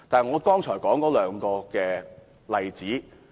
我列舉兩個例子。